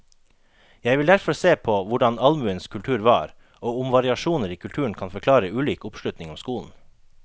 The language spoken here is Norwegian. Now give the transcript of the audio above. Jeg vil derfor se på hvordan allmuens kultur var, og om variasjoner i kulturen kan forklare ulik oppslutning om skolen.